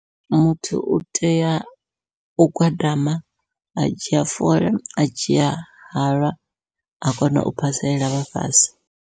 Muthu u tea u gwadama adzhia fola adzhia halwa a kona u phasela vhafhasi.